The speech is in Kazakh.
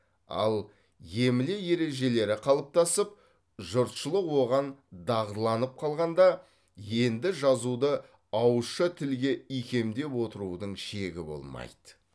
ал емле ережелері қалыптасып жұртшылық оған дағдыланып қалғанда енді жазуды ауызша тілге икемдеп отырудың шегі болмайды